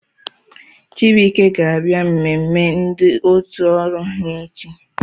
Chibuike ga-abịa mmemme ndị otu ọrụ ha echi